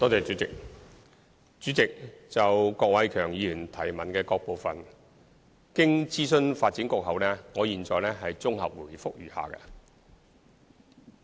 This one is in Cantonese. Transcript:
主席，就郭偉强議員質詢的各個部分，經諮詢發展局後，我現綜合答覆如下。